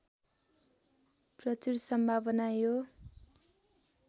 प्रचुर सम्भावना यो